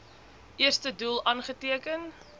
eerste doel aangeteken